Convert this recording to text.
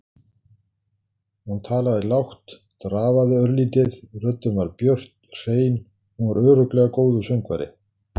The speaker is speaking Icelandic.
Hún talaði lágt, drafaði örlítið, röddin var björt, hrein- hún var örugglega góður söngvari.